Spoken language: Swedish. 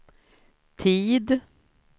tid